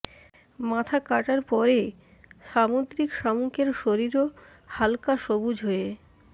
মাথা কাটার পরে সামুদ্রিক শামুকের শরীরও হালকা সবুজ হয়ে